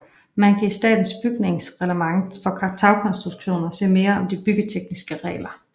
Man kan i statens bygningsreglement for tagkonstruktioner se mere om de byggetekniske regler